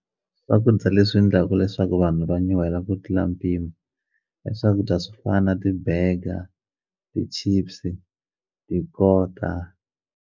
Swakudya leswi ndlaku leswaku vanhu va nyuhela ku tlula mpimo i swakudya swo fana na ti-burger ti-chips tikota.